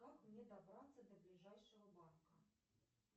как мне добраться до ближайшего банка